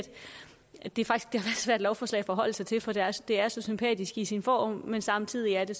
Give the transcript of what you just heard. et ret svært lovforslag at forholde sig til fordi det er så sympatisk i sin form men samtidig er det